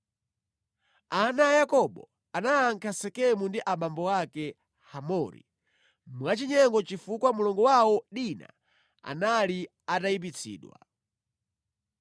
Ana a Yakobo anayankha Sekemu ndi abambo ake, Hamori mwachinyengo chifukwa mlongo wawo, Dina anali atayipitsidwa.